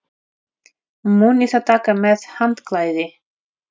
Munið að taka með handklæði!